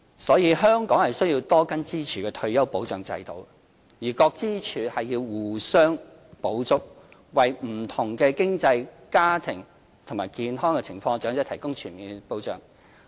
因此，香港需要多根支柱的退休保障制度，各支柱互相補足，為不同經濟、家庭和健康情況的長者提供全面保障。